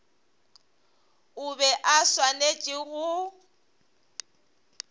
o be a swanetše go